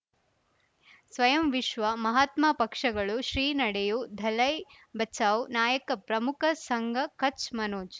ಸ್ವಯಂ ವಿಶ್ವ ಮಹಾತ್ಮ ಪಕ್ಷಗಳು ಶ್ರೀ ನಡೆಯೂ ದಲೈ ಬಚೌ ನಾಯಕ ಪ್ರಮುಖ ಸಂಘ ಕಚ್ ಮನೋಜ್